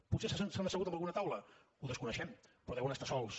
potser s’han assegut en alguna taula ho desconeixem però deuen estar sols